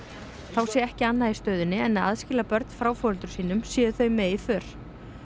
þá sé ekki annað í stöðunni en að aðskilja börn frá foreldrum sínum séu þau með í för